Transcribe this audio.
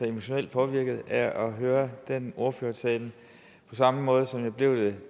emotionelt påvirket af at høre den ordførertale på samme måde som jeg blev det